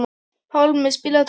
Pálmi, spilaðu tónlist.